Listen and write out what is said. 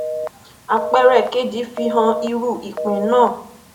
àpẹẹrẹ kejì fi hàn irú ìpín náà